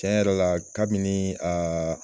Tiɲɛ yɛrɛ la kabini a